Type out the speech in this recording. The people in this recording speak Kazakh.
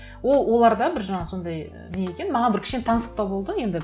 ол оларда бір жаңа сондай і не екен маған бір кішкене таңсықтау болды енді